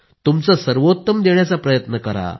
तुमचे सर्वोत्तम देण्याचा प्रयत्न करा